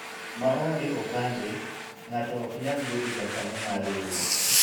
maonge opande ,ng'ato ok nyal bedo jakanyo mar riwruok